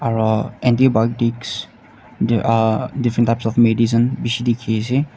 aru antibiotics aa different types of medicine bishi dikhi ase.